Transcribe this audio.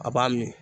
A b'a miiri